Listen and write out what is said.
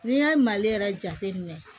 N'i y'a mali yɛrɛ jate minɛ